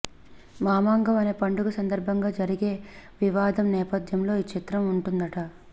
మామాంగం అనే పండుగ సందర్బంగా జరిగే వివాదం నేపథ్యంలో ఈ చిత్రం ఉంటుందట